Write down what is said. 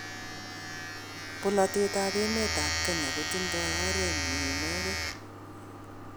Bolatet ab emet ab Kenya kotindo oret nyin inegen